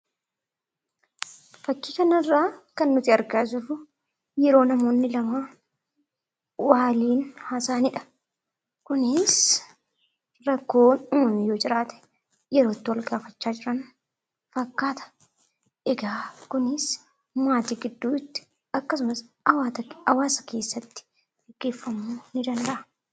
Fakkii kanarraa kan nuti argaa jirru yeroo namoonni lama waliin haasa'anidha. Kunis rakkoon uumame yoo jiraate yeroo itti wal gaafachaa jiran fakkaata. Egaa kunis maatii gidduutti akkasumas hawaasa keessatti gaggeeffamuu ni danda'a.